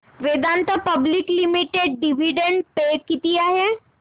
Vedanta public limited dividend pay किती आहे